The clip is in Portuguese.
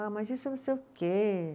Ah, mas isso não sei o quê